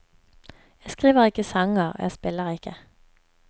Jeg skriver ikke sanger, og jeg spiller ikke.